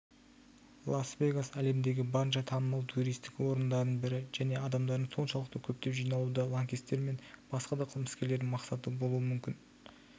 лас-вегас әлемдегі барынша танымал туристік орындардың бірі және адамдардың соншалықты көптеп жиналуы да лаңкестер мен басқа да қылмыскерлердің мақсаты болуы мүмкін